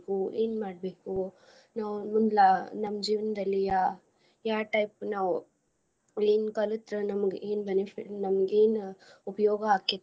ಏನ್ ಮಾಡ್ಬೇಕು ನಾವ್ ಮುಂದ್ಲ ನಮ್ ಜೀವನದಲ್ಲಿ ಅಹ್ ಯಾವ type ನಾವ್ ಏನ್ ಕಲತ್ರ ನಮ್ಗ ಏನ್ benefit ನಮ್ಗ ಏನ್ ಉಪಯೋಗ ಆಕ್ಕೇತಿ.